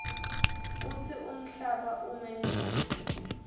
kutsi umhlaba umenjani